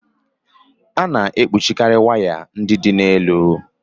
A na-ekpuchikarị waya ndị dị n'elu.